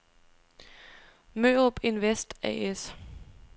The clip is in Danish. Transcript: Mørup Invest A/S